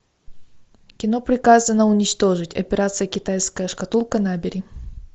кино приказано уничтожить операция китайская шкатулка набери